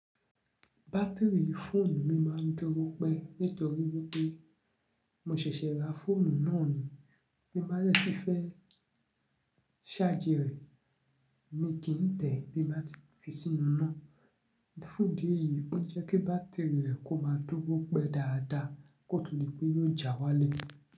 Batiri fóònù mi máa ń dúró pẹ́ nítorí wípé mo ṣẹ̀ṣẹ̀ ra fóònù náà ni. Bí mo bá rẹ́ ti fẹ́ ṣájì rẹ̀, mo kì í tẹ̀ bí bá ti fi sínú iná. Fún idi eyìí ó ń jẹ́ kí bátìrì rẹ̀ kó máa dúró pẹ́ dáadáa kótó dí pé yóò já wálé.